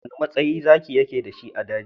Wane matsayi Zaki yake da shi a daji?